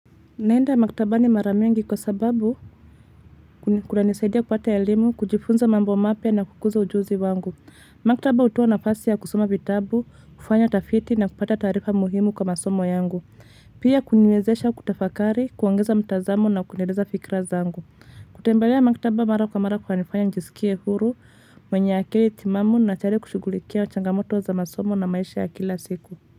Naenda maktaba ni mara mingi kwa sababu kunanisaidia kupata elimu, kujifunza mambo mapya na kukuza ujuzi wangu. Maktaba hutoa nafasi ya kusoma vitabu, kufanya tafiti na kupata tarifa muhimu kama somo yangu. Pia kuniwezesha kutafakari, kuongeza mtazamo na kueleza fikra zangu. Kutembelea maktaba mara kwa mara kunanifanya njisikie huru mwenye akili timamu na tayari kushughulikia changamoto za masomo na maisha ya kila siku.